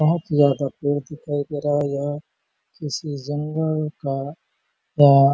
बहुत ज्यादा पेड़ दिखाई दे रहा है यह किसी जंगल का या--